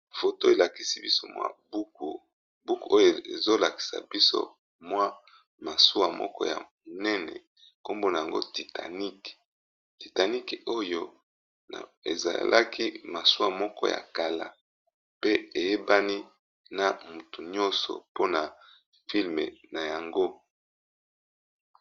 Photo elakisi biso buku, na buku yango tomoni elili ya masuwa moko ya munene oyo babengi titanic